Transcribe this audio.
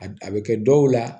A a bɛ kɛ dɔw la